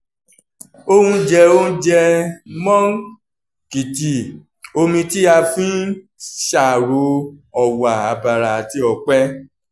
ó ń jẹ́ oúnjẹ moong khichdi omi tí a fi ń ṣàrò ọ̀wà àbàrà àti ọ̀pẹ́